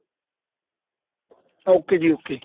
ok ਜੀ ok